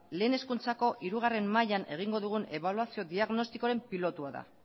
lehen hezkuntzako hirugarrena mailan egingo dugun ebaluazio diagnostikoaren pilotua da